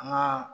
An ka